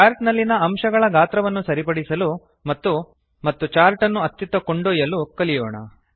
chart ನಲ್ಲಿನ ಅಂಶಗಳ ಗಾತ್ರವನ್ನು ಸರಿಪಡಿಸಲು ಮತ್ತು ಚಾರ್ಟ್ ಅನ್ನು ಅತ್ತಿತ್ತ ಕೊಂಡೊಯ್ಯಲು ಕಲಿಯೋಣ